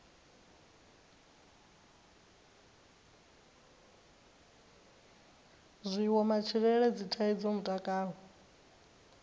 zwiwo matshilele dzithaidzo mutakalo